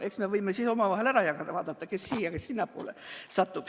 Eks me võime siis ära jagada, vaadata, kes siia- või sinnapoole satub.